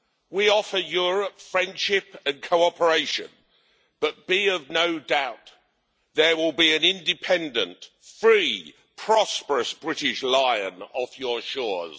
We offer Europe friendship and cooperation, but be of no doubt there will be an independent, free, prosperous British lion off your shores.